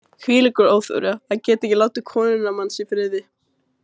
Hvílíkur óþverri, að geta ekki látið konuna manns í friði.